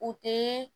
U tɛ